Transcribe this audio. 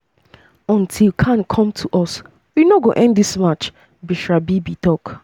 "until khan come to us we no go end dis march" bushra bibi tok.